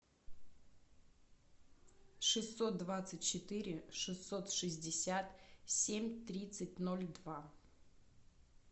шестьсот двадцать четыре шестьсот шестьдесят семь тридцать ноль два